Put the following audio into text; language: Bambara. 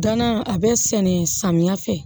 Danan a bɛ sɛnɛ samiya fɛ